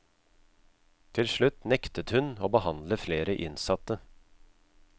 Til slutt nektet hun å behandle flere innsatte.